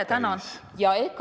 Ma tänan!